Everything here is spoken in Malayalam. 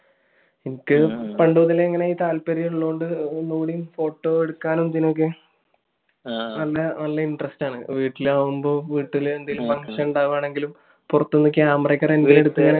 എനിക്ക് പണ്ടുമുതലേ ഇതിനൊക്കെ ഒരു താല്പര്യം ഉള്ളകൊണ്ട് photo എടുക്കാനും ഇതിനൊക്കെ നല്ല interest ആണ്. ഇപ്പൊ വീട്ടിൽ ആണേലും വീട്ടിൽ എന്തെങ്കിലും function ഉണ്ടാവുകയാണേലും പുറത്തുന്ന് camera ഒക്കെ rent ന് എടുത്ത്